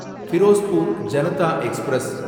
Ferozepur Janata express